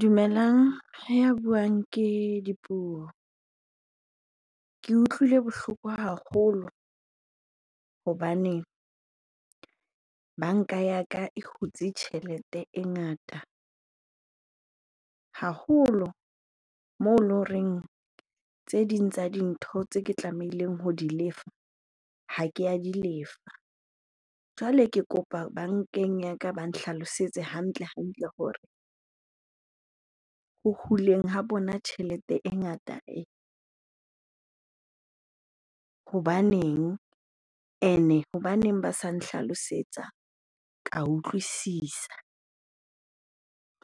Dumelang, ya buang ke Dipuo. Ke utlwile bohloko haholo hobane banka ya ka e hutse tjhelete e ngata haholo moo eloreng tse ding tsa dintho tse ke tlamehileng ho di lefa, ha ke a di lefa. Jwale ke kopa bankeng ya ka ba nhlalosetse hantle-hantle hore ho huleng ho bona tjhelete e ngata ee, hobaneng? Ene hobaneng ba sa nhlalosetsa, ka utlwisisa